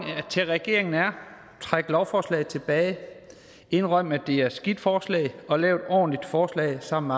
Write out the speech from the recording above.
til regeringen er træk lovforslaget tilbage indrøm at det er et skidt forslag og lav et ordentligt forslag sammen